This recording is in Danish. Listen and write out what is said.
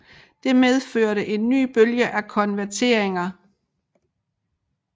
Det medførte en ny bølge af konverteringer